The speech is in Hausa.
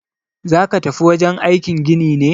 Zaka tafi wajen aikin gini ne?